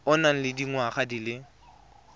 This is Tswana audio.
o nang le dingwaga di